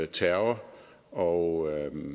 terror og